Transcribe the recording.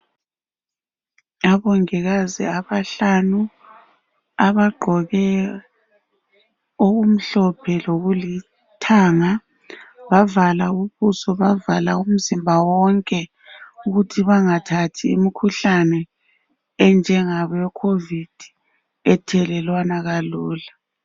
Abongikazi abahlanu. Abagqoke okumhlophe lokulithanga . Bavala ubuso, bavala umzimba wonke ukuthi bangathathi imikhuhlane enjengabo COVID ethelelwana kalula.